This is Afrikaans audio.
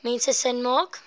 mense sin maak